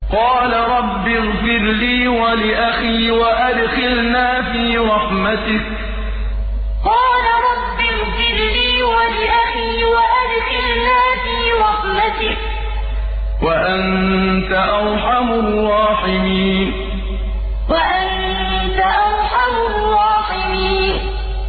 قَالَ رَبِّ اغْفِرْ لِي وَلِأَخِي وَأَدْخِلْنَا فِي رَحْمَتِكَ ۖ وَأَنتَ أَرْحَمُ الرَّاحِمِينَ قَالَ رَبِّ اغْفِرْ لِي وَلِأَخِي وَأَدْخِلْنَا فِي رَحْمَتِكَ ۖ وَأَنتَ أَرْحَمُ الرَّاحِمِينَ